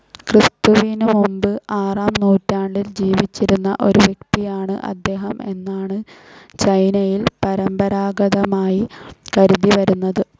ക്രിസ്തുവിനു മുമ്പ് ആറാം നൂറ്റാണ്ടിൽ ജീവിച്ചിരുന്ന ഒരു വ്യക്തിയാണ്‌ അദ്ദേഹം എന്നാണ്‌ ചൈനയിൽ പരമ്പരാഗതമായി കരുതിവരുന്നത്.